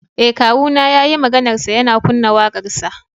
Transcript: Eh kawuna yayi maganarsa yana kunna wakarsa.